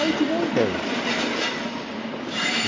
Aí eu tive uma ideia.